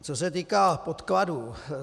Co se týká podkladů.